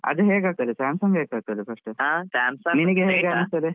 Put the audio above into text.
ಅದು ಹೇಗೆ ಆಗ್ತದೆ samsung hang , ಆಗ್ತದೆ first ನಿನ್ಗೆ ಹೇಗೆ ಅನಿಸ್ತದೆ?